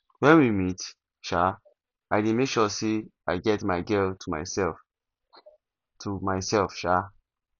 when we meet um i dey make sure say i get my girl to myself um to myself um